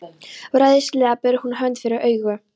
Ráðleysislega ber hún hönd fyrir augu.